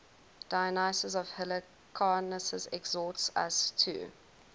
dionysius of halicarnassus exhorts us to